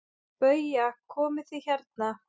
BAUJA: Komið þið hérna!